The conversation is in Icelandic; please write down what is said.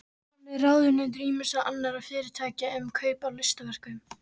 Hann er ráðunautur ýmissa annarra fyrirtækja um kaup á listaverkum.